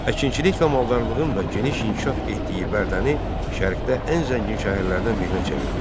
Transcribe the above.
Əkinçilik və maldarlığın da geniş inkişaf etdiyi Bərdəni Şərqdə ən zəngin şəhərlərdən birinə çevirmişdi.